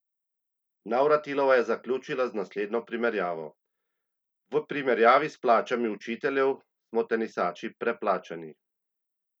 Navratilova je zaključila z naslednjo primerjavo: "V primerjavi s plačami učiteljev, smo tenisači preplačani.